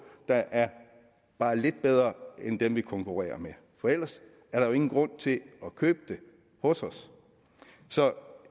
der er bare lidt bedre end dem vi konkurrerer med for ellers er der jo ingen grund til at købe det hos os så